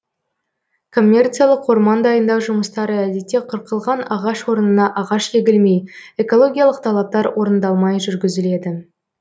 коммерциялық орман дайындау жұмыстары әдетте қырқылған ағаш орнына ағаш егілмей экологиялық талаптар орындалмай жүргізіледі